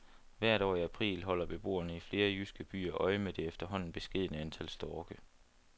Hvert år i april holder beboerne i flere jyske byer øje med det efterhånden beskedne antal storke.